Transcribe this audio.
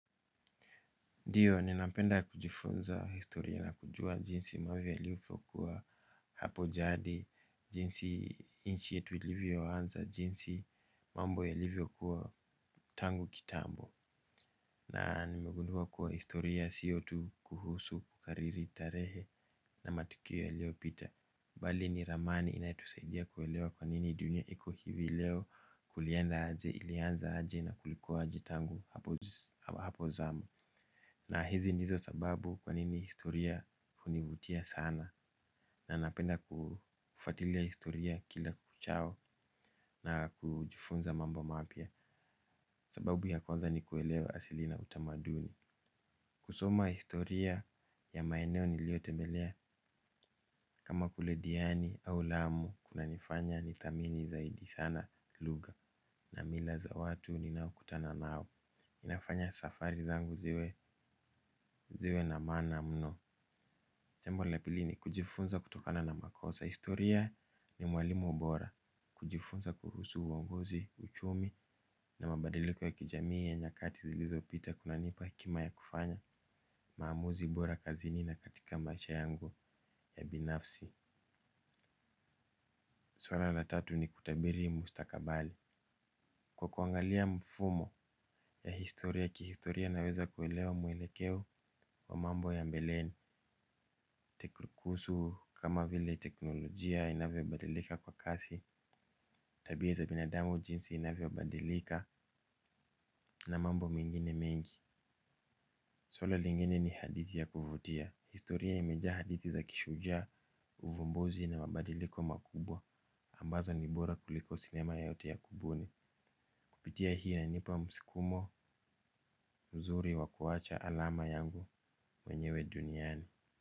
Ndiyo, ninapenda kujifunza historia na kujua jinsi mambo yalivyokuwa hapo jadi, jinsi nchi yetu ilivyo anza, jinsi mambo yalivyo kuwa tangu kitambo. Na nimegundua kuwa historia siyo tu kuhusu kukariri tarehe na matukio yaliopita. Bali ni ramani inayotusaidia kuelewa kwa nini dunia iko hivi leo kulienda aje ilianza aje na kulikuwa aje tangu hapo zamani. Na hizi ndizo sababu kwanini historia hunivutia sana. Na napenda kufuatilia historia kila kuchao na kujifunza mambo mapya. Sababu ya kwanza ni kuelewa asili na utamaduni. Kusoma historia ya maeneo nilio tembelea kama kule diani au lamu kunanifanya nithamini zaidi sana lugha na mila za watu ninao kutana nao. Inafanya safari zangu ziwe na maana mno. Jambo la pili ni kujifunza kutokana na makosa. Historia ni mwalimu bora. Kujifunza kuhusu uongozi, uchumi na mabadiliko ya kijamii ya nyakati zilizo pita kunanipa hekima ya kufanya maamuzi bora kazini na katika maisha yangu ya binafsi. Swala la tatu ni kutabiri mustakabali. Kwa kuangalia mfumo kihistoria naweza kuelewa mwelekeo wa mambo ya mbeleni kuhusu kama vile teknolojia inavyobadilika kwa kasi, tabia za binadamu jinsi inavyobadilika na mambo mengine mengi. Swala lingine ni hadithi ya kuvutia. Historia imejaa hadithi za kishujaa, uvumbuzi na mabadiliko makubwa ambazo ni bora kuliko sinema yoyote ya kubuni. Kupitia hii inanipa msukumo mzuri wa kuwacha alama yangu wenyewe duniani.